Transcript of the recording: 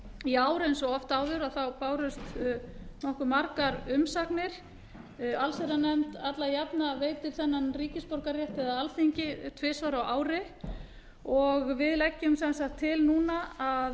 í ár bárust eins og oft áður nokkuð margar umsagnir alþingi veitir alla jafna þennan ríkisborgararétt eða tvisvar á ári og leggur allsherjarnefnd til núna að